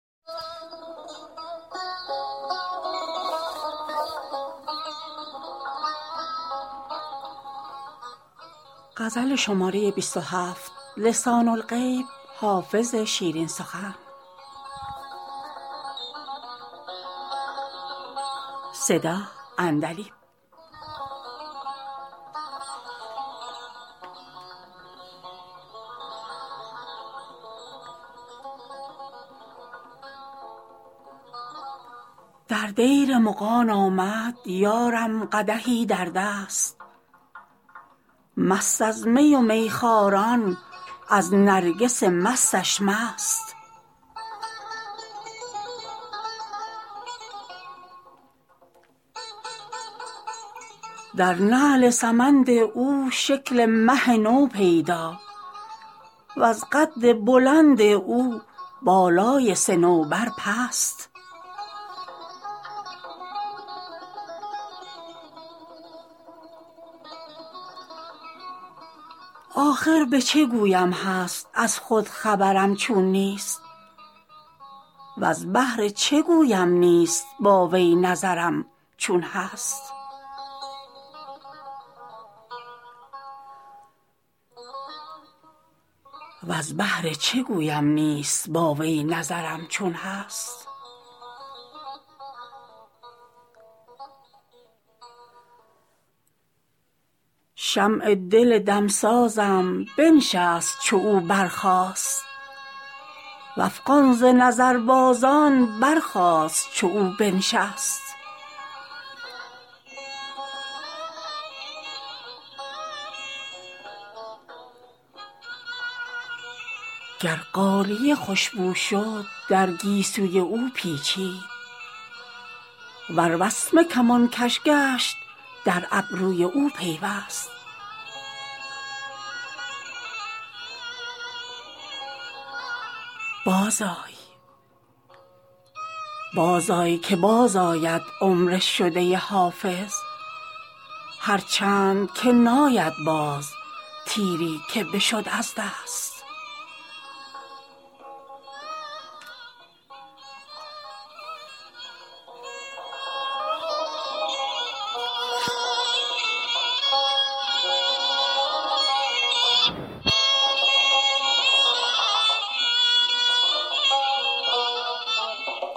در دیر مغان آمد یارم قدحی در دست مست از می و میخواران از نرگس مستش مست در نعل سمند او شکل مه نو پیدا وز قد بلند او بالای صنوبر پست آخر به چه گویم هست از خود خبرم چون نیست وز بهر چه گویم نیست با وی نظرم چون هست شمع دل دمسازم بنشست چو او برخاست و افغان ز نظربازان برخاست چو او بنشست گر غالیه خوش بو شد در گیسوی او پیچید ور وسمه کمانکش گشت در ابروی او پیوست بازآی که بازآید عمر شده حافظ هرچند که ناید باز تیری که بشد از شست